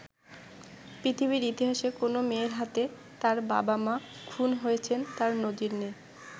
পৃথিবীর ইতিহাসে কোনো মেয়ের হাতে তার বাবা-মা খুন হয়েছেন তার নজির নেই।